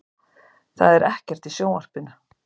Það er ekkert í sjónvarpinu.